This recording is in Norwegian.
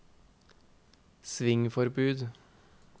svingforbud